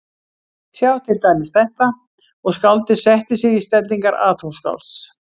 Sjáið til dæmis þetta, og skáldið setti sig í stellingar atómskálds